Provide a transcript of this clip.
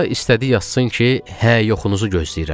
Sonra istədi yazsın ki, hə yoxunuzu gözləyirəm.